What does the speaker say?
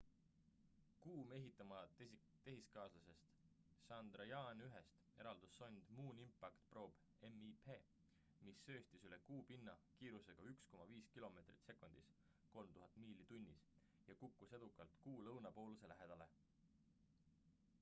kuu mehitamata tehiskaaslasest chandrayaan-1-st eraldus sond moon impact probe mip mis sööstis üle kuu pinna kiirusega 1,5 kilomeetrit sekundis 3000 miili tunnis ja kukkus edukalt kuu lõunapooluse lähedale